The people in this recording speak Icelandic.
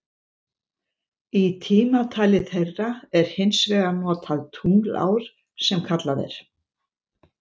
Í tímatali þeirra er hins vegar notað tunglár sem kallað er.